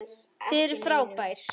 Þið eruð frábær.